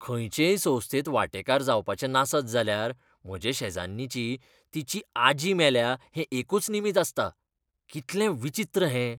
खंयचेय संस्थेंत वांटेकार जावपाचें नासत जाल्यार म्हजे शेजान्नीचें तिची आजी मेल्या हें एकूच निमीत आसता. कितलें विचीत्र हें!